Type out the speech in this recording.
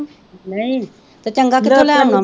ਨਹੀਂ ਤੇ ਚੰਗਾ ਕਿੱਥੋਂ ਲੈ ਆਵਾਂ